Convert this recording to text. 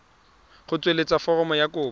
go tsweletsa foromo ya kopo